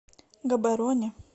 габороне